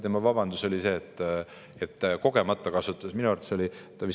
Tema vabandus oli see, et kogemata kasutas erakond Koos teda ära.